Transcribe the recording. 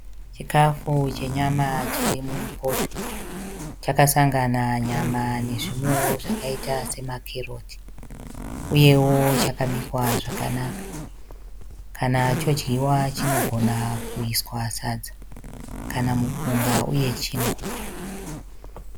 Chikafu chenyama chiri mupoto. Chakasangana nyama nezvimwewo zvakaita semakeroti uyewo chakabikwa zvakanaka kana chodyiwa chinogona kuiswa sadza kana mupunga uye chingwa.